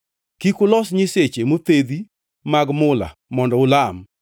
“Kik ulos nyiseche mothedhi mag mula mondo ulam.